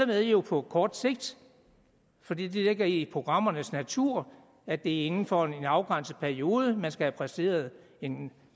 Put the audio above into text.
med jo på kort sigt fordi det ligger i programmernes natur at det er inden for en afgrænset periode man skal have præsteret en